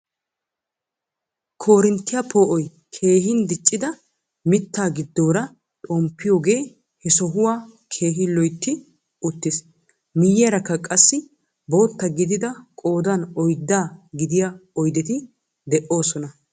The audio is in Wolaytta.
Korinttiyaa poo'oy keehin diiccida mittaa giddoora xomppiyoogee he sohuwaa keehi loytti uttiis. Miyayaraka qassi bootta gidida qoodan oyddaa gidiyaa oydeti de'oosona.